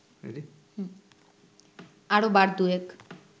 আরও বার দুয়েক